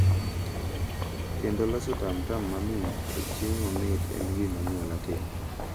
Kendo loso tamtam mamit kod chiemo mamit en gima anyuola timo.